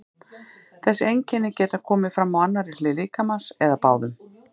Þessi einkenni geta komið fram á annarri hlið líkamans eða báðum.